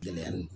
Gɛlɛya nin